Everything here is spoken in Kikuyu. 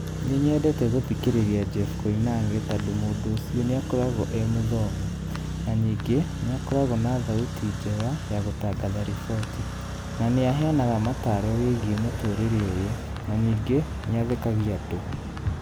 Nĩ nyendete gũthikĩrĩria Jeff Koinange tondũ mũndũ ũcio nĩ akoragwo e mũthomu, na ningĩ nĩ akoragwo na thauti njega ya gũtangatha riboti, na nĩ aheyanaga mataro wĩgiĩ mũtũrĩre ũyũ, na ningĩ nĩathekagika andũ.